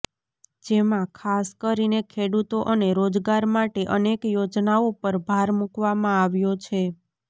જેમાં ખાસ કરીને ખેડૂતો અને રોજગાર માટે અનેક યોજનાઓ પર ભાર મૂકવામાં આવ્યો છે